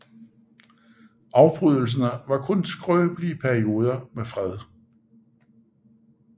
Afbrydelserne var kun skrøbelige perioder med fred